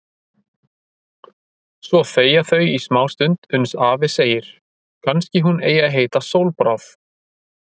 Svo þegja þau í smástund uns afi segir: Kannski hún eigi að heita Sólbráð.